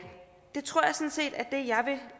det tror